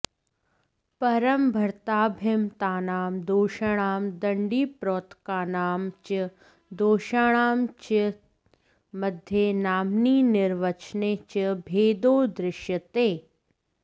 परं भरताभिमतानां दोषाणां दण्डिप्रोक्तानां च दोषाणां च मध्ये नाम्नि निर्वचने च भेदो दृश्यते